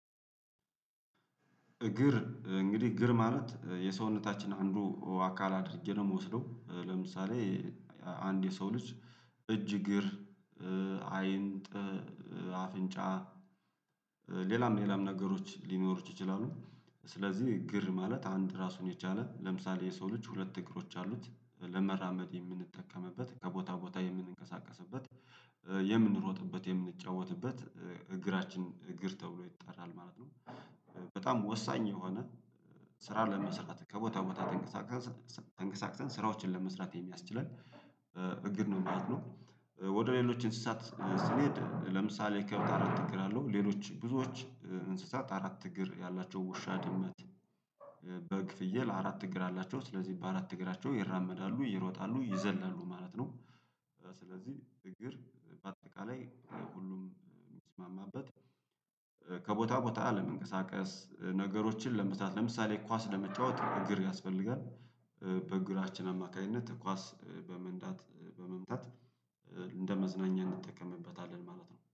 እግር እንግዲህ እግር ማለት የሰውነታችን አንዱ አካል አድርጌ ነው የምወስደው ለምሳሌ አንድ የሰው ልጅ እጅ እግር አይንጥ አፍንጫ ሌላም ሌላም ነገሮች ሊኖሩት ይችላሉ ስለዚህ እግር ማለት አንድ ራሱን የቻለ ለምሳሌ የሰው ልጅ ሁለት እግሮች አሉት ለመራመድ የምንጠቀምበት ከቦታ ቦታ የምንንቀሳቀስበት የምንሮጥበት የምንጫወትበት እግራችን እግር ተብሎ ይጠራል ማለት ነው። በጣም ወሳኝ የሆነ ስራ ለመስራት ከቦታ ቦታ ተንቀሳቅሰን ተንቀሳቅሰን ስራዎችን ለመስራት የሚያስችለን እግር ነው ማለት ነው፤ ወደ ሌሎች እንስሳት ስንሄድ ለምሳሌ ከብት አራት እግር አለው ሌሎች ብዙዎች እንስሳት አራት እግር ያላቸው ውሻ ድመት በግ ፍየል አራት እግር አላቸው ስለዚህ በአራት እግራቸው ይራመዳሉ ይሮጣሉ ይዘላሉ ማለት ነው፤ ስለዚህ እግር በአጠቃላይ ሁሉም የሚስማማበት ከቦታ ቦታ አለመንቀሳቀስ ነገሮችን ለመስራት ለምሳሌ ኳስ ለመጫወት እግር ያስፈልጋል፤ በእግራችን አማካኝነት ኳስ በመንዳት በመምታት እንደመዝናኛ እንጠቀምበታለን ማለት ነው።